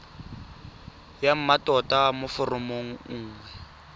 ya mmatota mo foromong nngwe